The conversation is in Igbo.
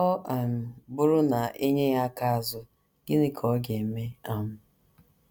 Ọ um bụrụ na e nye ya aka azụ, gịnị ka ọ ga - eme? um